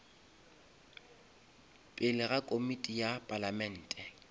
pele ga komiti ya palamente